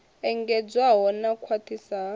engedzedzwaho na u khwaṱhiswa ha